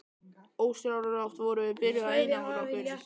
Ósjálfrátt vorum við byrjuð að einangra okkur.